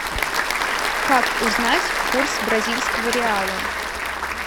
как узнать курс бразильского реала